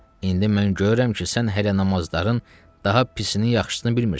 İndi mən görürəm ki, sən hələ namazların daha pisini, yaxşısını bilmirsən.